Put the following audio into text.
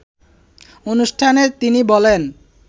অনুষ্ঠানে তিনি বলেন